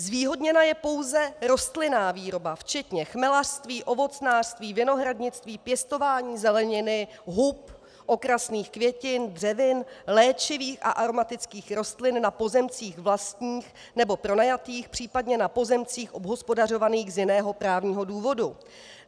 Zvýhodněná je pouze rostlinná výroba včetně chmelařství, ovocnářství, vinohradnictví, pěstování zeleniny, hub, okrasných květin, dřevin, léčivých a aromatických rostlin na pozemcích vlastních nebo pronajatých, případně na pozemcích obhospodařovaných z jiného právního důvodu.